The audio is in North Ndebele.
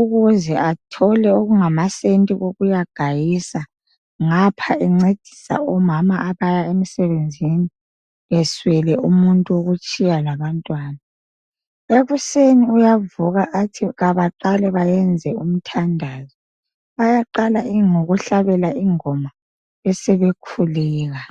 ukuze athole okungamasenti kokuyagayisa ngapha encedisa omama abaya emsebenzini, eswele umuntu wokutshiya labantwana. Ekuseni uyavuka athi abaqale benze umthandazo. Bayaqala ngokuhlabela ingoma besebekhuleka.